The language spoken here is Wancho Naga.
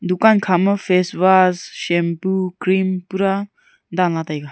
dukan kha ma face wash shampoo cream pura dan la taiga.